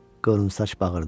qıvrımsaç bağırdı.